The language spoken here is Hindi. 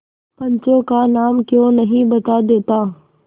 पंचों का नाम क्यों नहीं बता देता